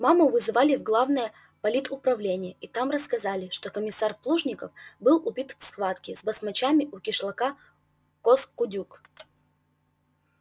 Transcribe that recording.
маму вызывали в главное политуправление и там рассказали что комиссар плужников был убит в схватке с басмачами у кишлака коз кудюк